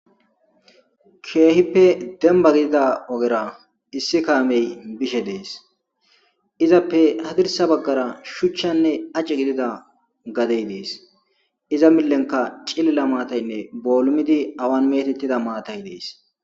keehippe demba gidida ogera issi kaamey bishe dees izappe hadirsa baggara shuchchanne aci gidida gadey dees iza millenka cilila maataynne boolumidi awan metettida maatay dees